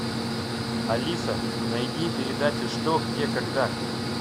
алиса найди передачу что где когда